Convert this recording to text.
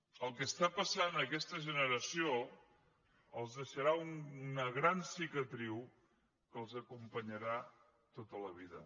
el que està passant a aquesta generació els deixarà una gran cicatriu que els acompanyarà tota la vida